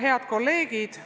Head kolleegid!